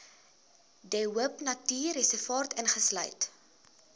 de hoopnatuurreservaat insluit